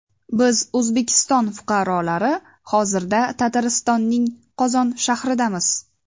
Biz O‘zbekiston fuqarolari hozirda Tataristonning Qozon shahridamiz.